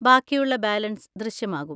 ബാക്കിയുള്ള ബാലൻസ് ദൃശ്യമാകും.